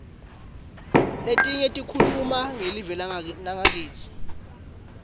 letinye tikhuluma ngelive nakitsi